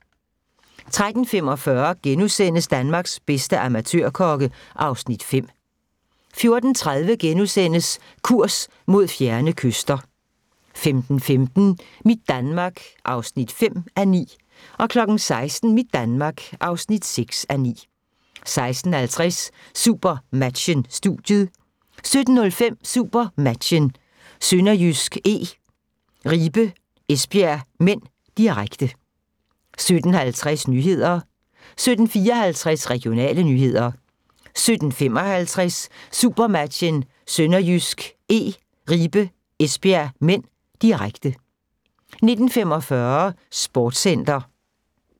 13:45: Danmarks bedste amatørkokke (Afs. 5)* 14:30: Kurs mod fjerne kyster (3:7)* 15:15: Mit Danmark (5:9) 16:00: Mit Danmark (6:9) 16:50: SuperMatchen: Studiet 17:05: SuperMatchen: SønderjyskE - Ribe-Esbjerg (m), direkte 17:50: Nyhederne 17:54: Regionale nyheder 17:55: SuperMatchen: SønderjyskE - Ribe-Esbjerg (m), direkte 19:45: Sportscenter